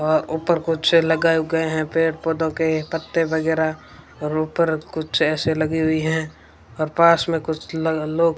वहां ऊपर कुछ लगाए गए है पेड़ पौधों के पत्ते वगैरा और ऊपर कुछ ए_सी लगी हुई है और पास में कुछ लग लोग --